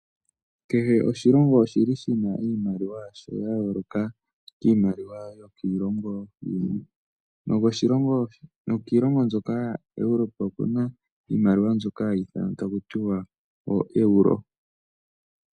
Kehe oshilongo oshi li shi na iimaliwa yasho ya yooloka kiimaliwa yokiilongo yimwe. Nokiilongo mbyoka yaEuropa oku na iimaliwa mbyoka hayi ithanwa taku tiwa ooeuro.